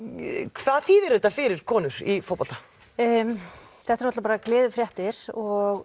hvað þýðir þetta fyrir konur í fótbolta þetta eru bara gleðifréttir og